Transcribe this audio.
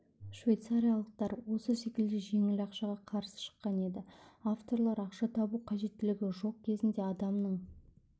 швейцариялықтар осы секілді жеңіл ақшаға қарсы шыққан еді авторлар ақша табу қажеттілігі жоқ кезінде адамның